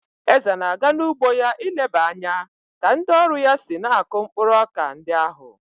Eze na-aga n'ugbo ya ileba anya ka ndị ọrụ ya si na-akụ mkpụrụ ọka ndi ahụ.